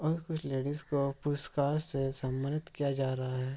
और कुछ लेडीज को पुरुस्कार से सन्मानित किया जा रहा हैं |